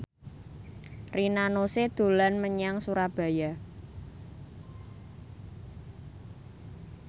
Rina Nose dolan menyang Surabaya